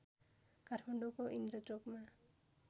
काठमाडौँको इन्द्रचोकमा